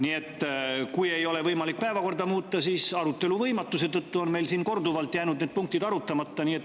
Nii et kui ei ole võimalik päevakorda muuta, siis arutelu võimatuse tõttu on meil siin korduvalt jäänud punktid arutamata.